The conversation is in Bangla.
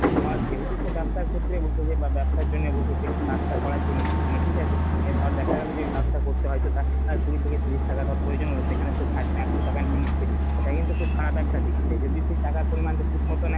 আর যেহেতু সে ব্যাবসার ক্ষেত্রে বসেছে বা ব্যাবসার জন্যে বসেছে কাজ টা করার জন্যে ঠিক আছে এই ধর দেখা গেলো যে এই কাজ টা করতে হয়তো তার কুড়ি থেকে তিরিশ টাকা ধর প্রয়োজন হলো সেখানে সে ফায়দা একশো টাকা নিয়ে নিচ্ছে। এটা কিন্তু খুব খারাপ একটা দিক সে যদি সেই টাকার পরিমান টা ঠিক মতো নেয়।